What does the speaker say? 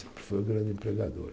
foi um grande empregador.